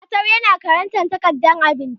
Jatau yana karanta takardar abinci